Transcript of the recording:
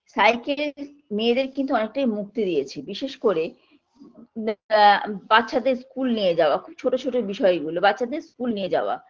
cycle মেয়েদের কিন্তু অনেকটা মুক্তি দিয়েছে বিশেষ করে আ বাচ্চাদের school নিয়ে যাওয়া ছোট ছোট বিষয়গুলো বাচ্চাদের school নিয়ে যাওয়া